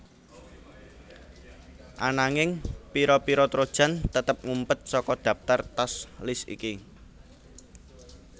Ananging pira pira trojan tetep ngumpet saka dhaptar task list iki